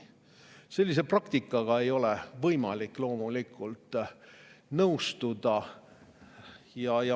Sellise praktikaga ei ole võimalik loomulikult nõustuda.